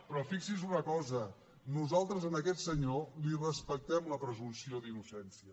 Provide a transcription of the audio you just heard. però fixi’s en una cosa nosaltres a aquest senyor li respectem la presumpció d’innocència